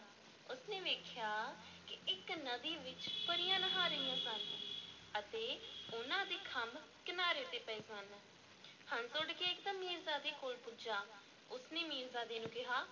ਉਸ ਨੇ ਵੇਖਿਆ ਕਿ ਇੱਕ ਨਦੀ ਵਿੱਚ ਪਰੀਆਂ ਨਹਾ ਰਹੀਆਂ ਸਨ ਤੇ ਉਹਨਾਂ ਦੇ ਖੰਭ ਕਿਨਾਰੇ ਤੇ ਪਏ ਸਨ, ਹੰਸ ਉੱਡ ਕੇ ਇਕਦਮ ਮੀਰਜ਼ਾਦੇ ਕੋਲ ਪੁੱਜਾ, ਉਸ ਨੇ ਮੀਰਜ਼ਾਦੇ ਨੂੰ ਕਿਹਾ,